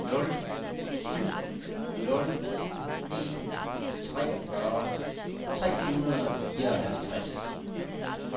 nul syv nul en treogfyrre tre hundrede og fireoghalvtreds